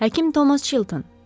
Həkim Tomas Çilton.